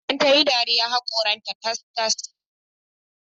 Idan tayi dariya, haƙoran ta tas-tas